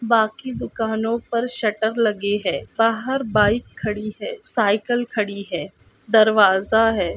बाकि दुकानों पर शटर लगे है बहार बाइक खड़ी है साइकिल खड़ी है दरवाज़ा है।